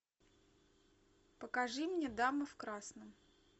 покажи мне дама в красном